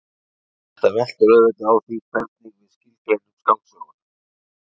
Þetta veltur auðvitað á því hvernig við skilgreinum skáldsöguna.